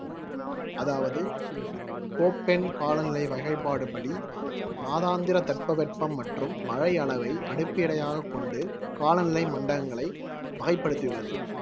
அதாவது கோப்பென் காலநிலை வகைப்பாடு படி மாதாந்திர தட்பவெப்பம் மற்றும் மழையளவை அடிப்பிறையாக கொண்டு காலநிலை மண்டலங்களை வகைப்படுத்தியுள்ளது